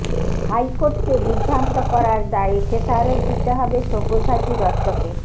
হাইকোর্টকে বিভ্রান্ত করার দায়ে খেসারত দিতে হবে সব্যসাচী দত্তকে